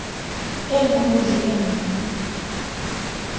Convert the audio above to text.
e nngwe le e nngwe